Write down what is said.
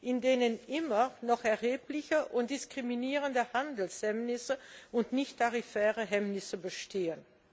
in denen immer noch erhebliche und diskriminierende Handelshemmnisse und nichttarifäre Hemmnisse bestehen.